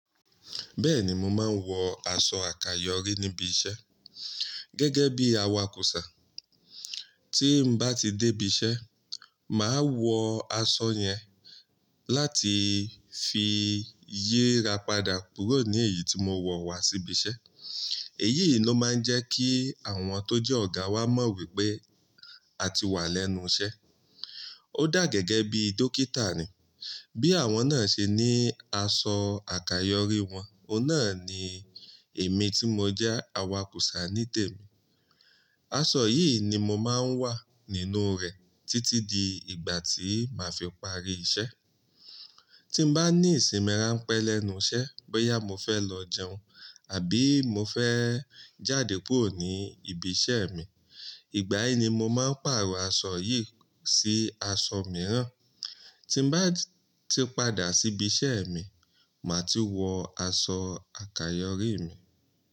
Bẹ́ẹ̀ni, mo máa ń wọ aṣọ àkayọrí níbi iṣẹ́ gẹ́gẹ́ bí awakùsà. Tí nbá ti dé ibi iṣẹ́, màá wọ aṣọ yẹn láti fi yíra padà kúrò nu èyí tí mo wọ̀ wá sí ibi iṣẹ́. Èyí ló máa ń jẹ́ kí àwọn tó jẹ́ ọ̀gá wa mọ̀ wípé a ti wà lẹ́nu iṣẹ́. Ko dà gẹ́gẹ́ bí dókítà ni. Bí àwọn náà ṣe ní aṣọ àkayọrí wọn, ọ̀nà ni èmi tí mo jẹ́ awakùsà ní tèmi. Aṣọ yìí ni mo máa ń wà nínú rẹ̀ títí di ìgbà tí màá fi parí iṣẹ́. Tí nbá ní ìsinmi ránpẹ́ lẹ́nu iṣẹ́, bóyá mo fẹ́ lọ jẹun àbí mo fẹ́ jáde kúrò ní ibi iṣẹ́ mi, ìgbà yìí ni mo máa pàrọ̀ aṣọ yìí sí aṣọ mìíràn. Tí bá ti padà sí ibi iṣẹ́ mi, màá ti wọ aṣọ àkayọrí mi.